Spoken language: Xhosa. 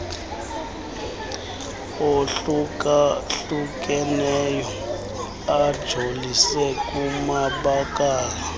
ohlukahlukeneyo ajolise kumabakala